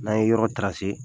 N'an ye yɔrɔ